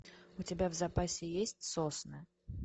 у тебя в запасе есть сосны